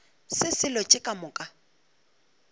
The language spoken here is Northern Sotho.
se selo tše ka moka